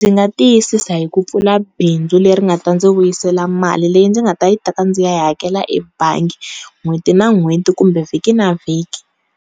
Ndzi nga tiyisisa hi ku pfula bindzu leri nga ta ndzi vuyisela mali leyi ndzi nga ta yi teka ndzi ya yi hakela ebangi n'hweti na n'hweti kumbe vhiki na vhiki.